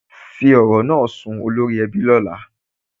Fí ọrọ̀ naa sún olórí èbí ni ọlá.